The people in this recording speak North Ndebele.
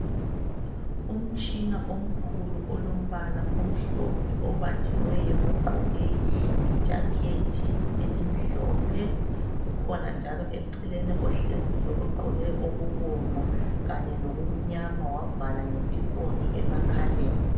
Umtshina omkhulu olombala omhlophe obanjiweyo ngogqoke ijakhethi elimhlophe kukhona njalo eceleni ohleziyo ogqoke okubomvu kanye loku mnyama wavala ngesifonyo emakhaleni.